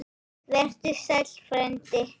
Vertu sæll, frændi.